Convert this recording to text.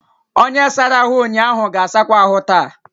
Onye sara ahụ ụnyaahụ ga-asakwa ahụ taa.